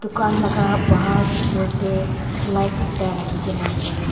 dukan laga bahar opor te light ekta rakhi kina ase.